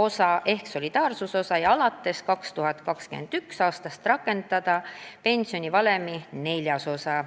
osa ehk solidaarsusosa ja alates 2021. aastast rakendada pensionivalemi neljas osa.